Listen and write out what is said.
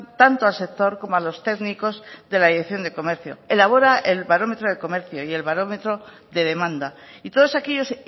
tanto al sector como a los técnicos de la dirección de comercio elabora el barómetro de comercio y el barómetro de demanda y todos aquellos